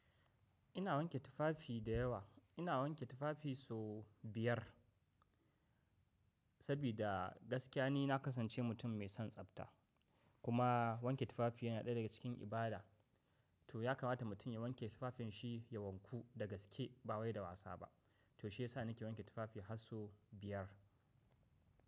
Ina wanke tufafi da yawa. Ina wanke tufafi so biyar sabida gaskiya ni na kasance mutum mai son tsabta. Kuma wanke tufafi yana ɗaya daga cikin ibada. To ya kamata mutum ya wanke tufafin shi ya wanku da gaske ba wai da wasa ba. To shi ya sa nake wanke tufafi har sau biyar.